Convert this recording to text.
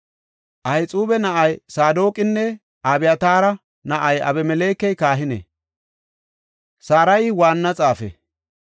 Ahixuuba na7ay Saadoqinne Abyataara na7ay Abimelekey kahine; Sarayi waanna xaafe.